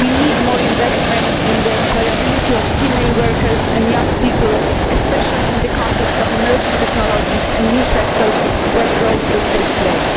We need more investment in the employability of female workers and young people, especially in the context of emerging technologies and new sectors where growth will take place.